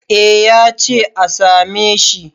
eh ya ce a same shi